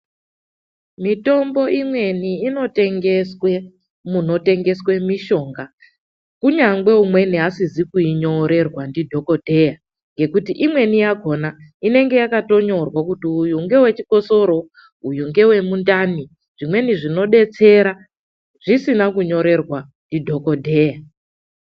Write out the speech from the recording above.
Mitombo imweni inotengeswe munotengeswe mishonga kunyangwe umweni asizi kuinyorerwa ndidhogodheya nekuti imweni yakona inenge yakatonyorwa kuti uyu ngewe chikosoro, uyu ngewe mundani, zvimweni zvinobetsera zvisina kunyorerwa ndidhogodheya.